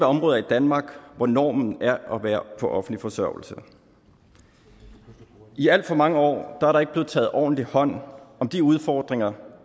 områder i danmark hvor normen er at være på offentlig forsørgelse i alt for mange år er der ikke blevet taget ordentlig hånd om de udfordringer